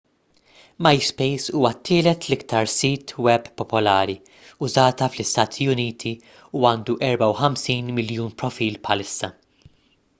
myspace huwa t-tielet l-iktar sit web popolari użata fl-istati uniti u għandu 54 miljun profil bħalissa